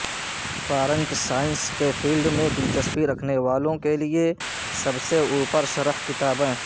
فارنک science کے field میں دلچسپی رکھنے والوں کے لئے سب سے اوپر شرح کتابیں